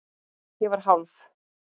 Ég var hálf